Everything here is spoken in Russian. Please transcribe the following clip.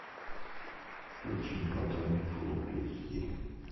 включи платон фул эйч ди